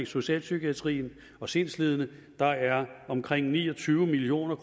socialpsykiatrien og sindslidende der er omkring ni og tyve million